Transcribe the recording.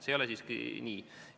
See ei ole siiski nii.